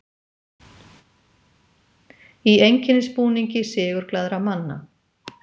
Í einkennisbúningi sigurglaðra manna.